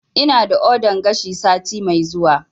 Ina da ordan gashi sati mai zuwa